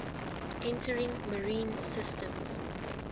entering marine systems